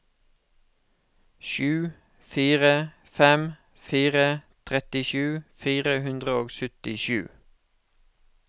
sju fire fem fire trettisju fire hundre og syttisju